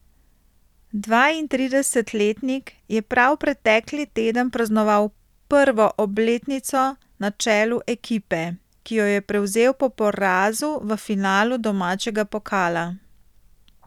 Dvaintridesetletnik je prav pretekli teden praznoval prvo obletnico na čelu ekipe, ki jo je prevzel po porazu v finalu domačega pokala.